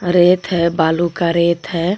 रेत है बालू का रेत है।